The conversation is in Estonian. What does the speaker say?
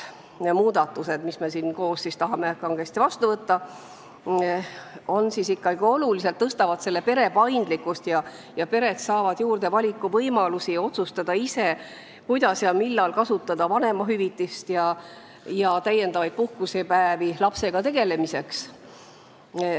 Muudatused, mida me koos tahame kangesti vastu võtta, suurendavad oluliselt paindlikkust, pered saavad juurde valikuvõimalusi, nad saavad ise otsustada, kuidas ja millal kasutada vanemahüvitist ja võtta täiendavaid puhkusepäevi lapsega tegelemiseks.